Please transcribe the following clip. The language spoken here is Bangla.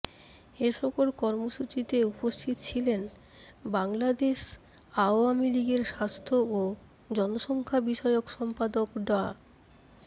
এসকল কর্মসূচীতে উপস্থিত ছিলেন বাংলাদেশ আওয়ামী লীগের স্বাস্থ্য ও জনসংখ্যা বিষয়ক সম্পাদক ডা